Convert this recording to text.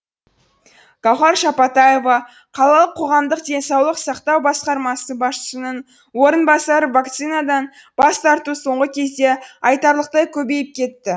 гауһар шапатаева қалалық қоғамдық денсаулық сақтау басқармасы басшысының орынбасары вакцинадан бас тарту соңғы кезде айтарлықтай көбейіп кетті